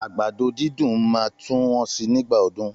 Àgbàdo dídùn máa tún wọ́n si nígbà ọdún.